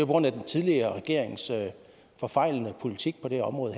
grund af den tidligere regerings forfejlede politik på det her område